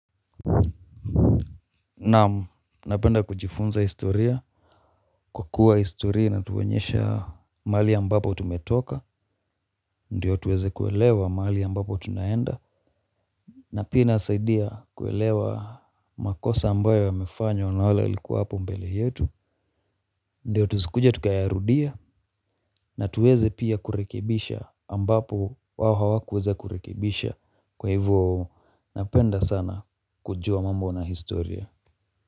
Naam, napenda kujifunza historia kwa kuwa historia inatuoenyesha mahali ambapo tumetoka. Ndiyo tuweze kuelewa mahali ambapo tunaenda na pia inasaidia kuelewa makosa ambayo yamefanywa na wale walikuwa hapo mbele yetu ndiyo tusikuja tukayarudia, na tuweze pia kurekibisha ambapo wao hawakuweza kurekibisha. Kwa hivyo napenda sana kujua mambo na historia.